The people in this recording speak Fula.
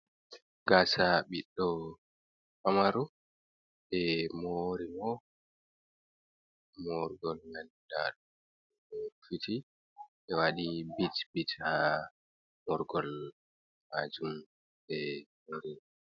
Gasa biɗɗo pamaro, ɓe mori mo morgol maldal rufuti, ɓe waɗi bit bit ha morgol majum ɓe.